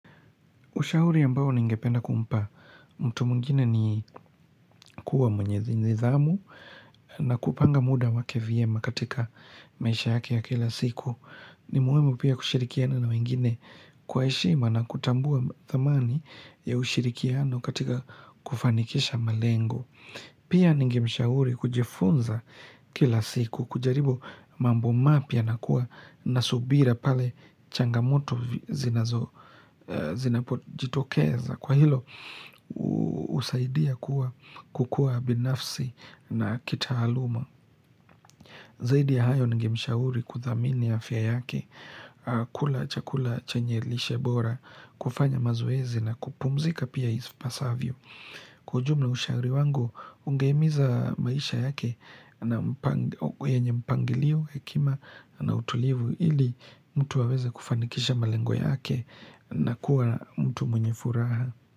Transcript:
Ushauri ambao ningependa kumpa mtu mwingine ni kuwa mwenye nidhamu na kupanga mda wake vyema katika maisha yake ya kila siku. Ni muhimu pia kushirikiana na wengine kwa heshima na kutambua thamani ya ushirikiano katika kufanikisha malengo. Pia ningemshauri kujifunza kila siku kujaribu mambo mapya na kuwa na subira pale changamoto zinazo zinapojitokeza kwa hilo husaidia kuwa kukua binafsi na kitaaluma. Zaidi ya hayo ningemshauri kuthamini afya yake kula chakula chenye lishe bora kufanya mazoezi na kupumzika pia ipasavyo. Kwa ujumla ushauri wangu ungehimiza maisha yake na mpangi yenye mpangilio hekima na utulivu ili mtu aweze kufanikisha malengo yake na kuwa mtu mwenye furaha.